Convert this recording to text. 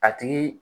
A tigi